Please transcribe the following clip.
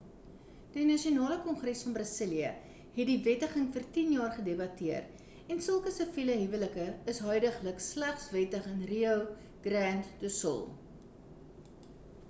die nasionale kongres van brasilië het die wettiging vir 10 jaar gedebatteer en sulke siviele huwelike is huidiglik slegs wettig in rio grande do sul